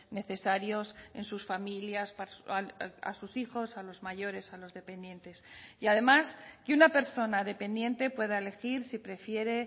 necesarios en sus familias a sus hijos a los mayores a los dependientes y además que una persona dependiente pueda elegir si prefiere